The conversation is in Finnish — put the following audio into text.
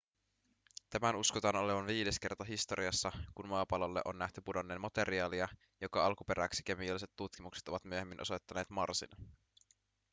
tämän uskotaan olevan viides kerta historiassa kun maapallolle on nähty pudonneen materiaalia joka alkuperäksi kemialliset tutkimukset ovat myöhemmin osoittaneet marsin